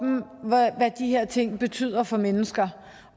hvad de her ting betyder for mennesker